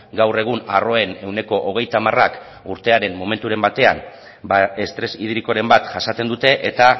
gaur egun arroen ehuneko hogeita hamarak urtearen momenturen batean ba estres hidrikoren bat jasaten dute eta